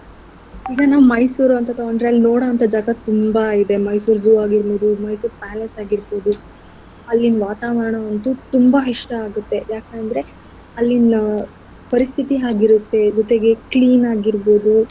ಈಗ ನಾವ್ Mysore ಅಂತ ತೊಗೊಂಡ್ರೆ ಅಲ್ ನೋಡೋ ಅಂಥ ಜಾಗ ತುಂಬಾ ಇದೆ. Mysore zoo ಆಗಿರ್ಬೋದು Mysore Palace ಆಗಿರ್ಬೋದು ಅಲ್ಲಿನ್ ವಾತಾವರಣ ಅಂತೂ ತುಂಬಾ ಇಷ್ಟ ಆಗತ್ತೆ ಯಾಕೆ ಅಂದ್ರೆ ಅಲ್ಲಿನ ಪರಿಸ್ಥಿತಿ ಹಾಗಿರತ್ತೆ ಜೊತೆಗೆ clean ಆಗಿರ್ಬೋದು.